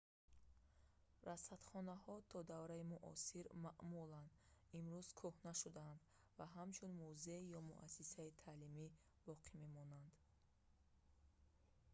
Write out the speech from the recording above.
расадхонаҳои то давраи муосир маъмулан имрӯз кӯҳна шудаанд ва ҳамчун музей ё муассисаи таълимӣ боқӣ мемонанд